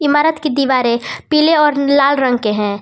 ईमारत की दीवारें पीले और लाल रंग के हैं।